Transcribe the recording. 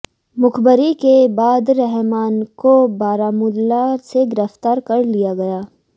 मुखबरी के बाद रहमान को बारामूला से गिरफ्तार कर लिया गया